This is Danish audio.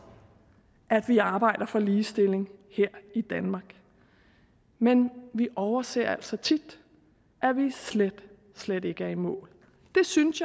at vi arbejder for ligestilling her i danmark men vi overser altså tit at vi slet slet ikke er i mål jeg synes